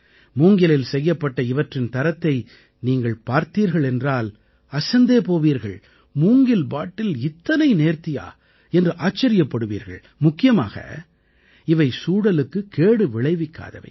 மூங்கிலில் செய்யப்பட்ட இவற்றின் தரத்தை நீங்கள் பார்த்தீர்கள் என்றால் அசந்தே போவீர்கள் மூங்கில் பாட்டில் இத்தனை நேர்த்தியா என்று ஆச்சரியப்படுவீர்கள் முக்கியமாக இவை சூழலுக்குக் கேடு விளைவிக்காதவை